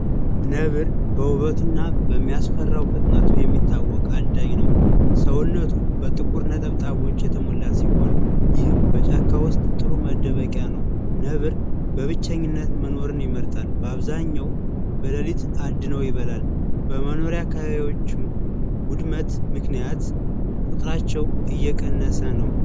ነብር በውበቱና በሚያስፈራው ሰውነቱ የሚታወቅ አዳኝ ነው፥ ሰውነቱ በጥቁር ነጠብጣቦች የተሞላ ሲሆን ይህም በጫካ ውስጥ ጥሩ መደበቂያው ነው። ነብር በብቸኝነት መኖርን ይመርጣል፤ በአብዛኛው በሌሊት አድኖ ይበላል። የመኖሪያው አካባቢዎች ውድመት ምክንያት ቁጥራቸው እየቀነሰ ነው።